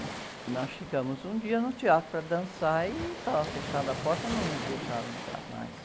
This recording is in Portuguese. E nós chegamos um dia no teatro para dançar e estava fechada a porta, não nos deixaram entrar mais.